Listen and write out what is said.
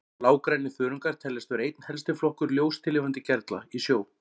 Blágrænir þörungar teljast vera einn helsti flokkur ljóstillífandi gerla í sjó.